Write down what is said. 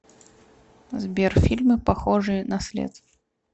сбер фильмы похожие на след